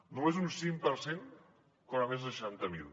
només un cinc per cent en cobra més de seixanta mil